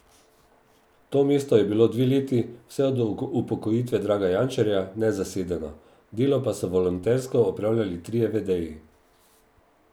To mesto je bilo dve leti, vse od upokojitve Draga Jančarja, nezasedeno, delo pa so voluntersko opravljali trije vedeji.